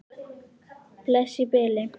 Bless í bili.